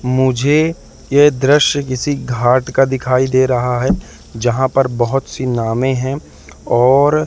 मुझे यह दृश्य किसी घाट का दिखाई दे रहा है यहां पर बहुत सी नावे हैं और--